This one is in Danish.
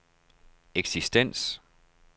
eksistens